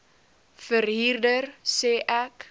verhuurder sê ek